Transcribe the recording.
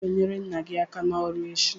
ị ga-enyere nna gị aka n'ọrụ echi!